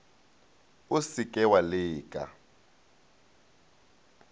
o se ke wa leka